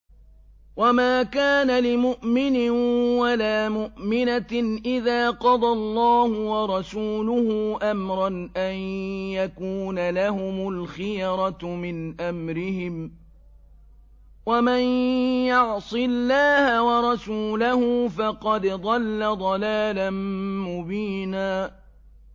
وَمَا كَانَ لِمُؤْمِنٍ وَلَا مُؤْمِنَةٍ إِذَا قَضَى اللَّهُ وَرَسُولُهُ أَمْرًا أَن يَكُونَ لَهُمُ الْخِيَرَةُ مِنْ أَمْرِهِمْ ۗ وَمَن يَعْصِ اللَّهَ وَرَسُولَهُ فَقَدْ ضَلَّ ضَلَالًا مُّبِينًا